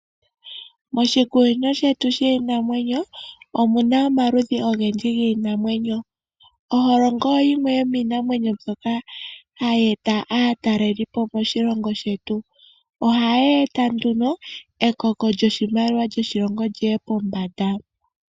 Moshikunino shetu shiinamwenyo omuna omaludhi ogendji giinamwenyo . Oholongo oyo yimwe yomiinamwenyo mbyoka hayi eta aatalelipo moshilongo shetu. Ohayi eta nduno ekoko lyoshimaliwa lyoshilongo lyi ye pombanda.